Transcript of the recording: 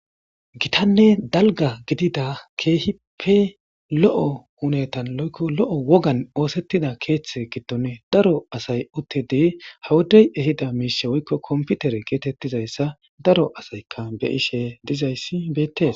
gitanne dalga gidida keehipe lo7o hunetan loykko lo7o wogan oosettida keeththe giddon daro asay uttidi hawudey ehida miishe woykko komputere geetettizayssa daro asaykka be ishe dizayssi beettes